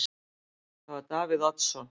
Það var Davíð Oddsson.